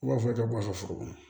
U b'a fɔ ka bɔ a ka foro kɔnɔ